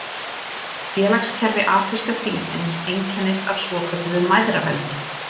Félagskerfi afríska fílsins einkennist af svokölluðu mæðraveldi.